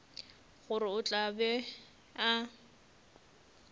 gore o tla be a